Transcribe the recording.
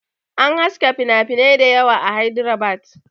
An haska finafinai dayawa a Hydrabad